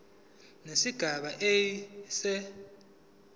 nesigaba a se